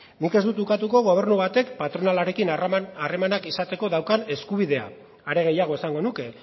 nik ez dut ukatuko gobernu batek patronalarekin harremanak izateko daukan eskubidea are gehiago esango nuke